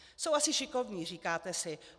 Jsou asi šikovní, říkáte si.